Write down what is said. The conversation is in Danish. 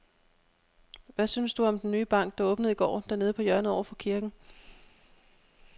Hvad synes du om den nye bank, der åbnede i går dernede på hjørnet over for kirken?